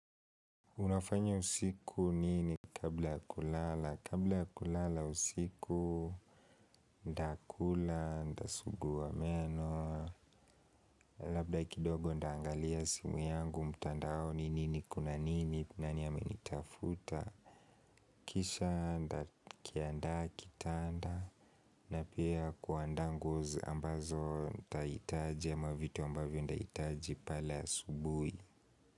Unafanya usiku nini kabla ya kulala? Kabla ya kulala usiku nitakula nitasugua meno. Labda kidogo nitaangalia simu yangu mtandaoni au ni nini kuna nini nani amenitafuta. Kisha nitakiandaa kitanda na pia kuandaa nguo ambazo nitahitaji ama vitu ambavyo nihitaji pale asubuhi.